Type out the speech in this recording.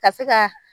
Ka se ka